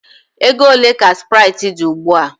Ego ole ka sprite dị ugbu a?